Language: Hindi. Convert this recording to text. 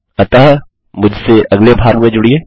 अतः मुझसे अगले भाग में जुड़िये